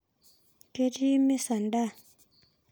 Ketii mesa ndaa